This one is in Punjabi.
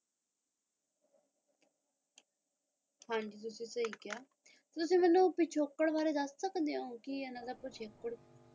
ਹਾਂ ਜੀ ਤੁਸੀਂ ਸਹੀ ਕਿਹਾ ਤੁਸੀਂ ਮੈਨੂੰ ਪਿਛੋਕੜ ਬਾਰੇ ਦੱਸ ਸਕਦੇ ਹੋ ਕੀ ਇਨ੍ਹਾਂ ਦਾ ਪਿਛੋਕੜ